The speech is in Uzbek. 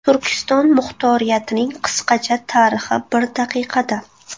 Turkiston muxtoriyatining qisqacha tarixi bir daqiqada.